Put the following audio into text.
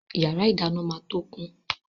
Yàrá ìdáná máa tó kún.